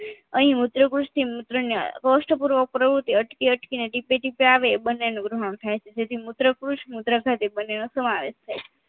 અહી મૂત્રકુશથી મૂત્ર ને કોસ્ટ પૂર્વક પ્રવૃતિ અટકી અટકી ને ટીપે ટીપે આવે બંનેનું વૃહળ થાય છે જેથી મુત્રકુશ મૂત્ર સાથે બંનેનો સમાવેશ થાય છે